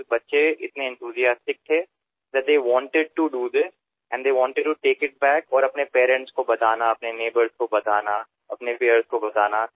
sir कारण मुले इतकी उत्साही होती की त्यांना हे करुन बघायचे होते आणि आपल्या घरीसुद्धा सांगायचे होते आपल्या पालकांना सांगायचे होते आपल्या शेजाऱ्यांना सांगायचे होते